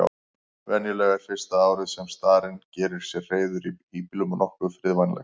Venjulega er fyrsta árið sem starinn gerir sér hreiður í híbýlum nokkuð friðvænlegt.